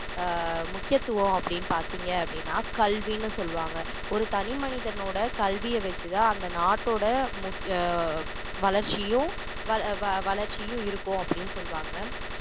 ஆஹ் முக்கியத்துவம் அப்படின்னு பார்த்தீங்க அப்படின்னா கல்வின்னு சொல்லுவாங்க ஒரு தனி மனிதனோட கல்விய வச்சுதான் அந்த நாட்டோட முக்கிய எர் வளர்ச்சியும் எர் வளர்ச்சியும் இருக்கும் அப்படின்னு சொல்லுவாங்க